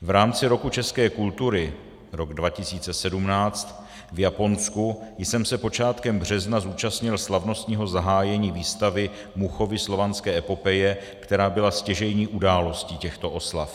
V rámci Roku české kultury, rok 2017, v Japonsku jsem se počátkem března zúčastnil slavnostního zahájení výstavy Muchovy Slovanské epopeje, která byla stěžejní událostí těchto oslav.